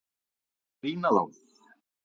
Eða brýna þá!